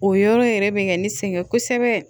O yɔrɔ yɛrɛ bɛ kɛ ne sɛgɛn kosɛbɛ